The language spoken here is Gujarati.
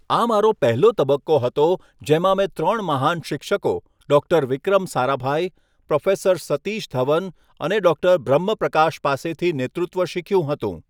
આ મારો પહેલો તબક્કો હતો, જેમાં મેં ત્રણ મહાન શિક્ષકો ડૉક્ટર વિક્રમ સારાભાઈ, પ્રોફેસર સતીશ ધવન અને ડૉક્ટર બ્રહ્મ પ્રકાશ પાસેથી નેતૃત્વ શીખ્યું હતું.